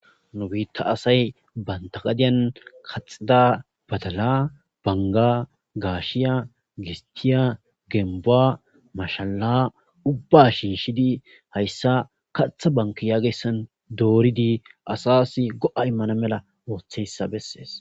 Nu biita asay banta gadiyani kaxida badala,banga, gashiya, gistiya,gembuwa , mashala, Ubba shiishid haysa katha banke yagiyaysa doorid asas go'a imana mala ootiyaysa beses.